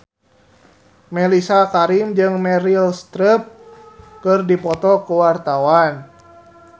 Mellisa Karim jeung Meryl Streep keur dipoto ku wartawan